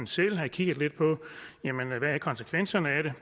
selv havde kigget lidt på hvad konsekvenserne af det